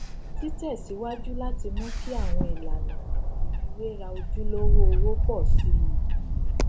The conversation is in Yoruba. títẹsíwájú láti mú kí àwọn ìlànà ìfiwéra ojulowó owo pọ sí i